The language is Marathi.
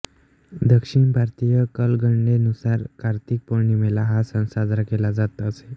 दक्षिण भारतीय कालगणनेनुसार कार्तिक पौर्णिमेला हा सण साजरा केला जात असे